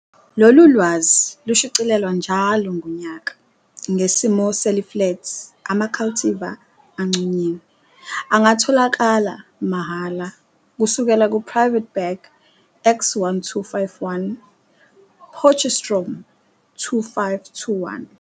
Lolu lwazi, lushicilelwa njalo ngonyaka, ngesimo seliflethi, ama-cultivar anconyiwe, angatholakala, mahhala, kusukela ku-Private Bag X1251, Potchestroom, 2521.